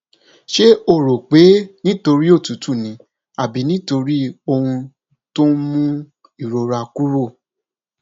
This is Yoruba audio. ṣé o rò pé nítorí òtútù ni àbí nítorí ohun tó ń mú ìrora kúrò